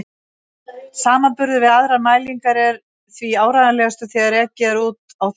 Samanburður við aðrar mælingar er því áreiðanlegastur þegar ekið er úti á þjóðvegi.